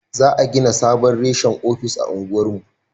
Za a gina sabon reshen ofis a unguwar mu